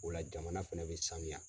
O la jamana fɛnɛ bɛ saniya.